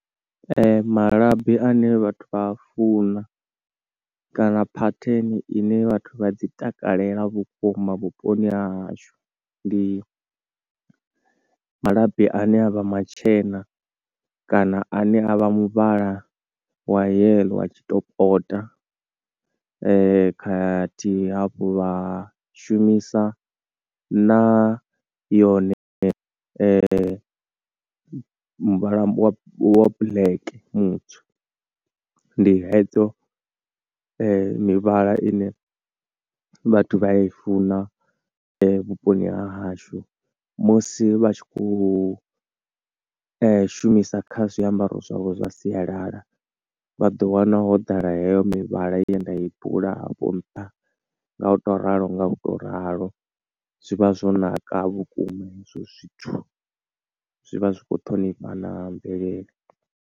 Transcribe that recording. Ee, malabi ane vhathu vha a funa kana pattern ine vhathu vha dzi takalela vhukuma vhuponi ha hashu, ndi malabi ane avha matshena kana ane a vha muvhala wa yellow wa tshi topota, khathihi hafho vha shumisa na yone muvhala wa black mutswu. Ndi hedzo mivhala ine vhathu vha i funa vhuponi ha hashu musi vha tshi khou shumisa kha zwiambaro zwavho zwa sialala. Vha ḓo wana ho ḓala heyo mivhala ye nda i bula hafho nṱha, nga u to ralo nga u to ralo, zwivha zwo naka vhukuma hezwo zwithu, zwivha zwikho ṱhonifha na mvelele.